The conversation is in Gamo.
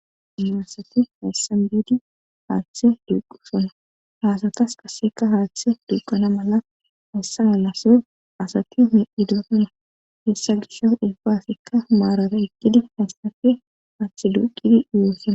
na asati hessan biidi haaththe duqu sona haasatas qasseka haaththe duqana mala hessa nalaso asati medi dutana hessa gisha ulfaasekka maarata eqqidi haysafe haaththe duqidi iwoosana